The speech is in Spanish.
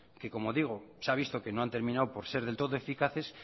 que como digo se han visto que no han terminado por ser del todo eficaces